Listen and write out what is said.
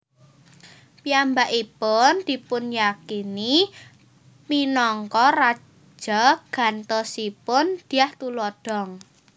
Piyambakipun dipunyakini minangka raja gantosipun Dyah Tulodhong